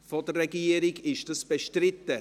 Ist dies im Saal bestritten?